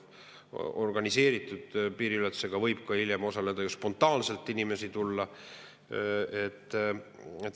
Organiseeritud piiriületuse korral võib ju ka spontaanselt inimesi tulla.